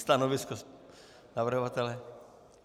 Stanovisko navrhovatele?